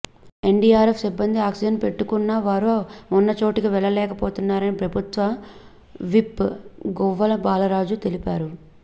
NDRF సిబ్బంది oxygen పెట్టుకున్నా వారు ఉన్న చోటుకి వెళ్లలేకపోతున్నారని ప్రభుత్వ విప్ గువ్వల బాలరాజు తెలిపారు